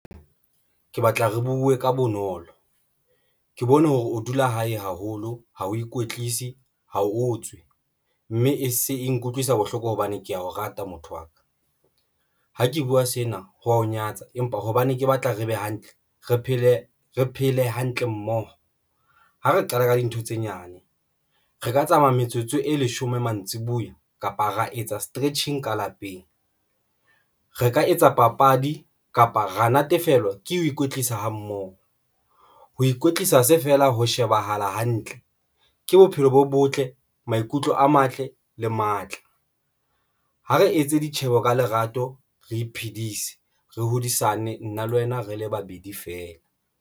Ke batla re buwe ka bonolo, ke bone hore o dula hae haholo, ha o ikwetlise ha o tswe mme e se e nkutlwisa bohloko hobane ke ya o rata motho wa ka. Ha ke buwa sena ho wa ho nyatsa empa hobane ke batla re be hantle, re phele, re phele hantle mmoho. Ha re qala ka dintho tse nyane, re ka tsamaya metsotso e leshome, mantsibuya kapa ra etsa stretching ka lapeng, re ka etsa papadi kapa ra natefelwa ke ho ikwetlisa ha mmoho. Ho ikwetlisa se fela ho shebahala hantle ke bophelo bo botle, maikutlo a matle, le matla. Ha re etse ditjheho ka lerato, re iphedise re hodisane nna le wena re le babedi feela.